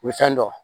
U bɛ fɛn dɔ